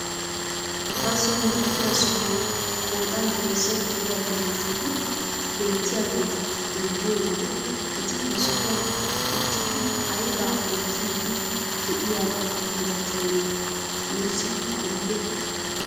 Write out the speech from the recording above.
Bazo milatiyaa sohuwaan qoodan heezzaa gidiyaa geleshoti beettiyaageta xeelliyoo wode eti he sohuwaan uttidi aybaa oottidi de'iyaaba milatiyoonaa nuusi odite?